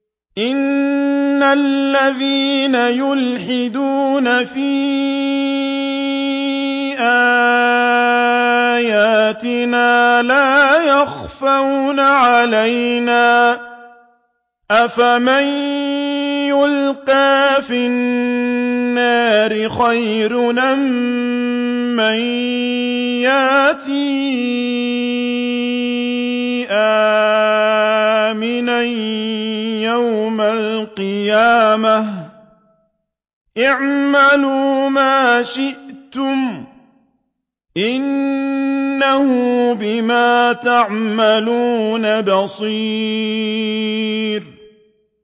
إِنَّ الَّذِينَ يُلْحِدُونَ فِي آيَاتِنَا لَا يَخْفَوْنَ عَلَيْنَا ۗ أَفَمَن يُلْقَىٰ فِي النَّارِ خَيْرٌ أَم مَّن يَأْتِي آمِنًا يَوْمَ الْقِيَامَةِ ۚ اعْمَلُوا مَا شِئْتُمْ ۖ إِنَّهُ بِمَا تَعْمَلُونَ بَصِيرٌ